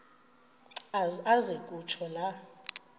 aze kutsho la